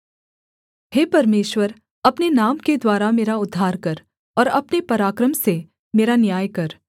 हे परमेश्वर अपने नाम के द्वारा मेरा उद्धार कर और अपने पराक्रम से मेरा न्याय कर